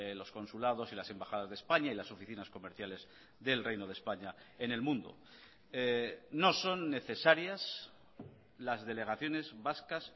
los consulados y las embajadas de españa y las oficinas comerciales del reino de españa en el mundo no son necesarias las delegaciones vascas